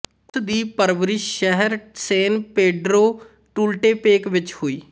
ਉਸਦੀ ਪਰਵਰਿਸ਼ ਸ਼ਹਿਰ ਸੈਨ ਪੇਡ੍ਰੋ ਟੂਲਟੇਪੇਕ ਵਿਚ ਹੋਈ